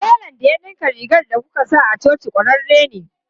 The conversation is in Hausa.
Telan da ya dinka rigar da kuka sa a coci kwararre ne.